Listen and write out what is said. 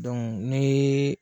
Dɔn nee